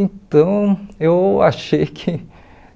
Então, eu achei que